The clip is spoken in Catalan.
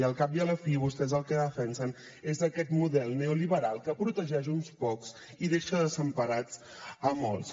i al cap i a la fi vostès el que defensen és aquest model neoliberal que protegeix uns pocs i deixa desemparats a molts